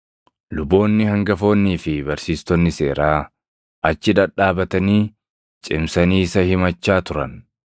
Luboonni hangafoonnii fi barsiistonni seeraa achi dhadhaabatanii cimsanii isa himachaa turan.